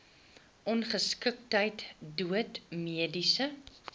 ongeskiktheid dood mediese